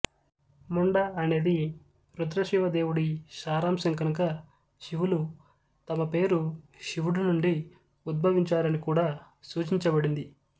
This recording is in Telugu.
ముండా అనేది రుద్రశివ దేవుడి సారాంశం కనుక శివులు తమ పేరు శివుడు నుండి ఉద్భవించారని కూడా సూచించబడింది